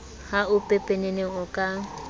ha o pepeneneng o ka